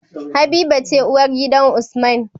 Habiba ce uwar gidan usman